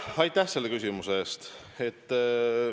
Aitäh selle küsimuse eest!